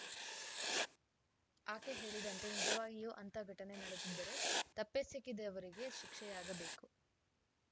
ಆಕೆ ಹೇಳಿದಂತೆ ನಿಜವಾಗಿಯೂ ಅಂಥ ಘಟನೆ ನಡೆದಿದ್ದರೆ ತಪ್ಪೆಸಗಿದವರಿಗೆ ಶಿಕ್ಷೆಯಾಗಬೇಕು